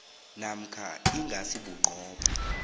namkha ingasi bunqopha